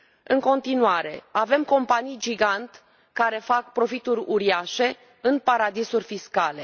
În continuare avem companii gigant, care fac profituri uriașe, în paradisuri fiscale.